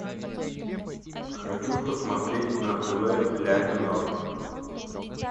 хочу посмотреть на тв ля минор